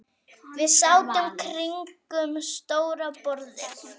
Við sátum kringum stóra borðið.